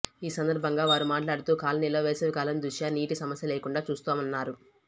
ఈ సందర్భంగా వారు మాట్లాడుతూ కాలనీలో వేసవికాలం దృష్ట్యా నీటి సమస్య లేకుండా చూస్తున్నామన్నారు